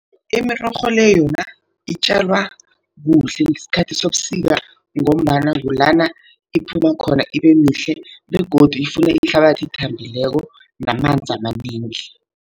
Imirorho le yona itjalwa kuhle ngesikhathi sobusika, ngombana kulana iphuma khona ibe mihle begodu ifuna ihlabathi ethambileko namanzi amanengi.